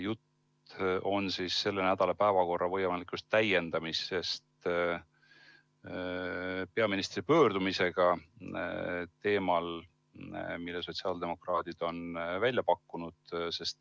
Jutt on selle nädala päevakorra võimalikust täiendamisest peaministri pöördumisega teemal, mille sotsiaaldemokraadid on välja pakkunud.